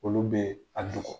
Olu be a dogo.